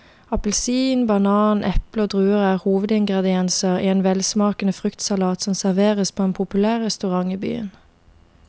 Appelsin, banan, eple og druer er hovedingredienser i en velsmakende fruktsalat som serveres på en populær restaurant i byen.